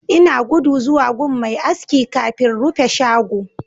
Ina gudu zuwa gun Mai aski kafin rufe shago